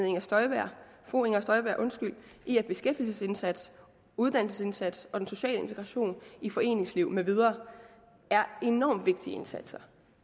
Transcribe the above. inger støjberg i at beskæftigelsesindsats uddannelsesindsats og social integration i foreningsliv med videre er enormt vigtige indsatser